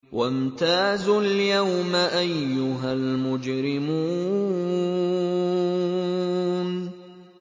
وَامْتَازُوا الْيَوْمَ أَيُّهَا الْمُجْرِمُونَ